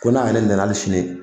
Ko n'ale nana ali sini